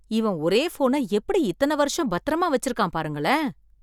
இவன் ஒரே போன எப்படி இத்தன வருஷம் பத்திரமா வச்சிருக்கான் பாருங்களே!